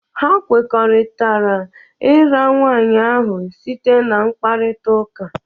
Ha kwekọrịtara ira nwaanyị ahụ site na mkparita ụka.